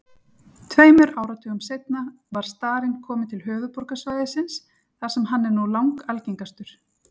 Tveimur áratugum seinna var starinn kominn til höfuðborgarsvæðisins þar sem hann er nú langalgengastur.